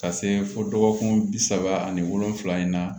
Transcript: Ka se fo dɔgɔkun bi saba ani wolonvila in na